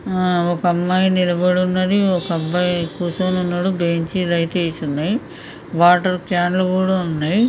ఆ ఒక అమ్మాయి నిలబడి ఉన్నది ఒక అబ్బాయి కూసోని ఉన్నడు బెంచ్ లు అయితే వేసి ఉన్నయి వాటర్ కాన్ లు కూడా ఉన్నయి .